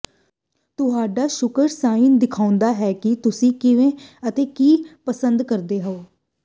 ਤੁਹਾਡਾ ਸ਼ੁੱਕਰ ਸਾਈਨ ਦਿਖਾਉਂਦਾ ਹੈ ਕਿ ਤੁਸੀਂ ਕਿਵੇਂ ਅਤੇ ਕੀ ਪਸੰਦ ਕਰਦੇ ਹੋ